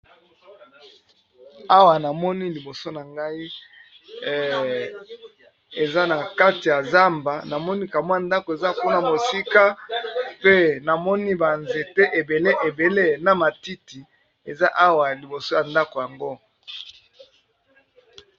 Awa namoni liboso na ngai eza na kati ya zamba namoni kamwa ndako eza kuna mosika pe namoni ba nzete ebele ebele na matiti eza awa liboso ya ndako yango.